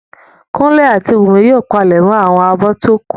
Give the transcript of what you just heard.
Kúnlé àti Wùnmí yóò palẹ̀mọ́ àwọn abọ́ tí ó kù